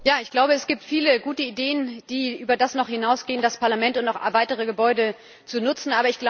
Ich glaube, es gibt viele gute Ideen, die noch über das hinausgehen, das Parlament und auch weitere Gebäude zu nutzen.